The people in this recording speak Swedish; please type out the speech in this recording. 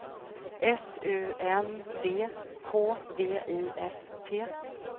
S U N D K V I S T